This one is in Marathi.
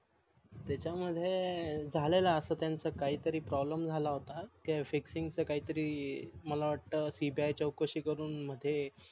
त्याचा मध्ये झालेल अस त्यांच काही तरी PROBLEM झाला होता ते FIXING च काही तरी CBI चौकशी करून ते